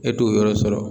E t'o yɔrɔ sɔrɔ